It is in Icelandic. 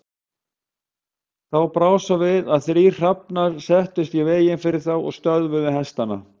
Þá brá svo við að þrír hrafnar settust í veginn fyrir þá og stöðvuðu hestana.